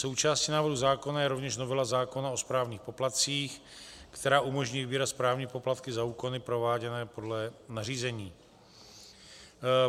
Součástí návrhu zákona je rovněž novela zákona o správních poplatcích, která umožní vybírat správní poplatky za úkony prováděné podle nařízení.